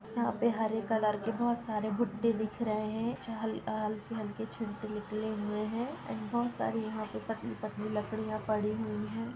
यहां पे हरे कलर के बहुत सारे भुट्टे दिख रहे हैं जो हल अ हल्के हल्के छिलके निकले हुए हैं एंड बहुत सारी यहां पर पतली-पतली लकड़ियां पड़ी हुई हैं।